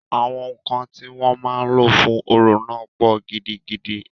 Àwọn ǹkan tí wọ́n máa lò fún orò náà pọ̀ gidigidi.